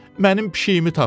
Mənim pişiyimi tapın.